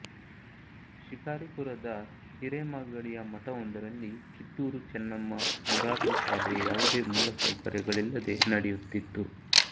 ಶಿಕಾರಿಪುರದ ಹಿರೇಮಾಗಡಿಯ ಮಠವೊಂದರಲ್ಲಿ ಕಿತ್ತೂರು ಚೆನ್ನಮ್ಮ ಮೊರಾರ್ಜಿ ಶಾಲೆ ಯಾವುದೇ ಮೂಲಸೌಕರ್ಯಗಳಿಲ್ಲದೆ ನಡೆಯುತ್ತಿತ್ತು